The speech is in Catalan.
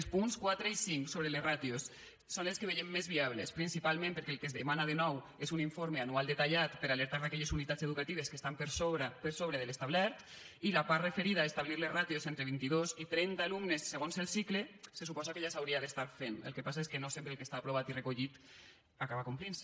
els punts quatre i cinc sobre les ràtios són els que veiem més viables principalment perquè el que es demana de nou és un informe anual detallat per a alertar d’aquelles unitats educatives que estan per sobre de l’establert i la part referida a establir les ràtios entre vint idos i trenta alumnes segons el cicle se suposa que ja s’hauria d’estar fent el que passa és que no sempre el que està aprovat i recollit acaba complint se